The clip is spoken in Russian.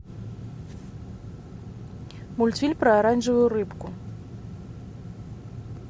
мультфильм про оранжевую рыбку